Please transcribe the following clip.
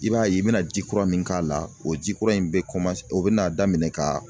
I b'a ye i bɛna ji kura min k'a la, o ji kura in bɛ o bɛ na daminɛ ka